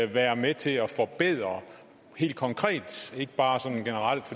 være med til at forbedre helt konkret ikke bare sådan generelt